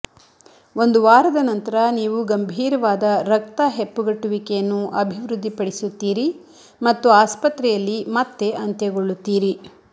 ಒಂದು ವಾರದ ನಂತರ ನೀವು ಗಂಭೀರವಾದ ರಕ್ತ ಹೆಪ್ಪುಗಟ್ಟುವಿಕೆಯನ್ನು ಅಭಿವೃದ್ಧಿಪಡಿಸುತ್ತೀರಿ ಮತ್ತು ಆಸ್ಪತ್ರೆಯಲ್ಲಿ ಮತ್ತೆ ಅಂತ್ಯಗೊಳ್ಳುತ್ತೀರಿ